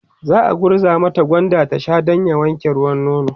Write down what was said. za'a gurza mata gwanda ta Sha Dan ya wanke ruwan nono